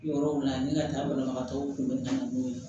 Yɔrɔ min na ni ka taa banabagatɔw kunbɛnni na n'o ye